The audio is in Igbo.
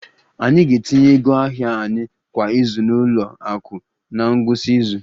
Anyị ga-etinye ego ahịa anyị kwa izu na ụlọ akụ na ngwụsị izu